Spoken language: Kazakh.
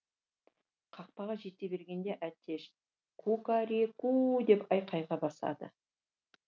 қақпаға жете бергенде әтеш ку ка ре ку деп айқайға басады